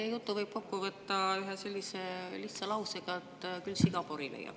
Teie jutu võib kokku võtta ühe lihtsa lausega: "Küll siga pori leiab.